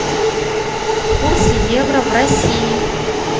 курс евро в россии